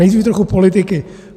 Nejdříve trochu politiky.